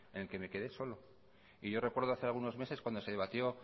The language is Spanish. en el que me quedé solo y yo recuerdo hace algunos meses cuando se debatió